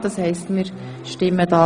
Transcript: Dann kommen wir zur Abstimmung.